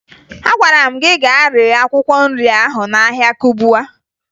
Agwara m gị gaa ree akwụkwọ nri ahụ n'ahịa Kubwa